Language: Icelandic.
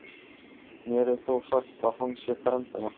Mér er þó sagt að hann sé frændi hennar.